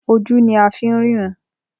Ojú ní a fí ń ríran.